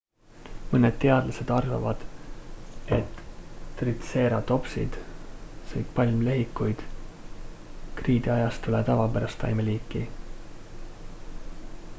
mõned teadlased arvavad et tritseeratopsid sõid palmlehikuid kriidiajastule tavapärast taimeliiki